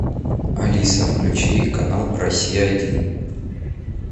алиса включи канал россия один